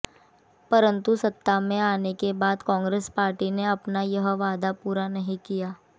परन्तु सत्ता में आने के बाद कांग्रेस पार्टी ने अपना यह वादा पूरा नहीं किया